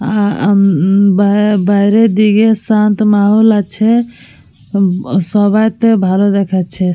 আ উঃম বা বাইরের দিকে শান্ত মাহল আছে। সবাইকে ভালো দেখাচ্ছে।